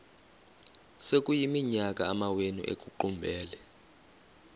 sekuyiminyaka amawenu ekuqumbele